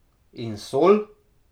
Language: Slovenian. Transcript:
In sol?